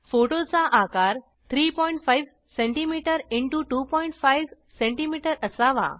photo चा आकार 35सीएम एक्स 25सीएम असावा